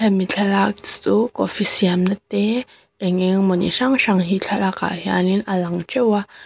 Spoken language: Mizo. hemi thlalak chu coffee siamna te eng engemaw ni hrang hrang he thlalak ah hianin a lang ṭeuh a.